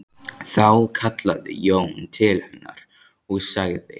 Þá kallaði Jón til hennar og sagði